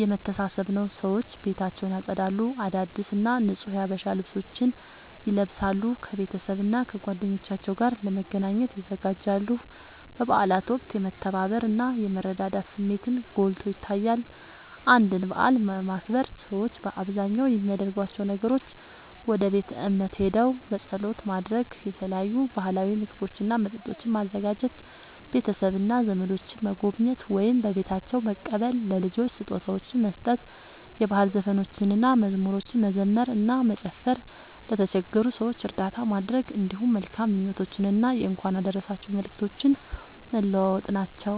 የመተሳሰብ ነዉ። ሰዎች ቤታቸውን ያጸዳሉ፣ አዳዲስ እና ንጹህ የሀበሻ ልብሶችን ይለብሳሉ፣ ከቤተሰብና ከጓደኞቻቸው ጋር ለመገናኘት ይዘጋጃሉ። በበዓላት ወቅት የመተባበር እና የመረዳዳት ስሜትን ጎልቶ ይታያል። አንድን በዓል ለማክበር ሰዎች በአብዛኛው የሚያደርጓቸው ነገሮች፦ ወደ ቤተ እምነት ሄደው ጸሎት ማድረግ፣ የተለያዩ ባህላዊ ምግቦችና መጠጦችን ማዘጋጀ፣ ቤተሰብና ዘመዶችን መጎብኘት ወይም በቤታቸው መቀበል፣ ለልጆች ስጦታዎችን መስጠት፣ የባህል ዘፈኖችንና መዝሙሮችን መዘመር እና መጨፈር፣ ለተቸገሩ ሰዎች እርዳታ ማድረግ፣ እንዲሁም መልካም ምኞቶችንና የእንኳን አደረሳችሁ መልእክቶችን መለዋወጥ ናቸዉ።